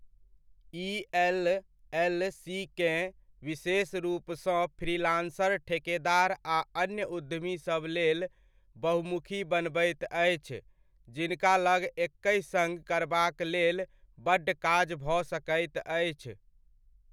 ई एल.एल.सी.केँ विशेष रूपसँ फ्रीलान्सर, ठेकेदार आ अन्य उद्यमीसभ लेल बहुमुखी बनबैत अछि जिनका लग एकहि सङ्ग करबाक लेल बड्ड काज भऽ सकैत अछि।